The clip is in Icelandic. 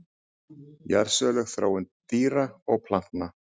Jarðsöguleg þróun dýra og plantna.